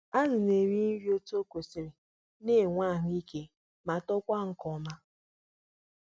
Azụ ndị na-eri nri nke ọma nagbasi ike, na netokwa ọsịsọ.